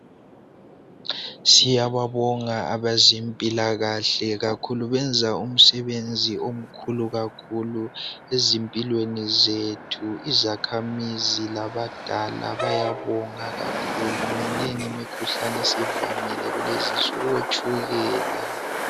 Siyababonga abezempilakahle kakhulu benza umsebenzi omkhulu kakhulu ezimpilweni zethu izakhamizi labadala bayabonga kakhulu minengi imikhuhlane esivamile kulezinsuku otshukela.